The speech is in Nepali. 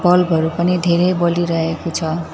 बल्ब हरू पनि धेरै बलिरहेको छ।